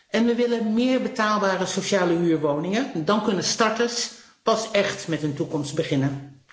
En we willen meer betaalbare sociale huurwoningen, want dan kunnen starters pas écht met een toekomst beginnen.